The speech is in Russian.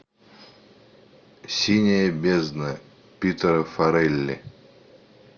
синяя бездна питера фаррелли